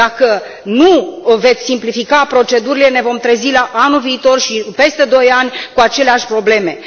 Dacă nu veți simplifica procedurile, ne vom trezi anul viitor și peste doi ani cu aceleași probleme.